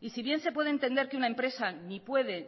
y si bien se puede entender que una empresa ni puede